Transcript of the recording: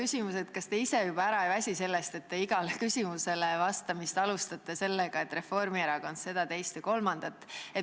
Esiteks, kas te ise juba ära ei väsi sellest, et te alustate igale küsimusele vastamist sellega, et Reformierakond on teinud seda, teist ja kolmandat.